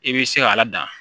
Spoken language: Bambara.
I bɛ se k'a ladamu